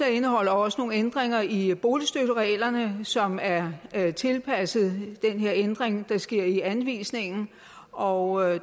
indeholder også nogle ændringer i boligstøttereglerne som er tilpasset den her ændring der sker i anvisningen og